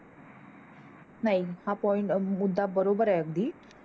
नाई हा POINT मुद्दा बरोबर हे अगदी